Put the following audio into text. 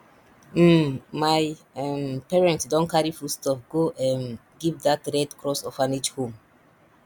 um my um parents don carry foodstuff go um give dat red cross orphanage home